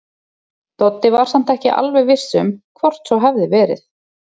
Doddi var samt ekki alveg viss um hvort svo hefði verið.